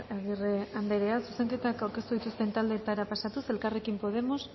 agirre anderea zuzenketak aurkeztu dituzten taldeetara pasatuz elkarrekin podemos